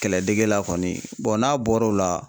Kɛlɛdɛge la kɔni n'a bɔra o la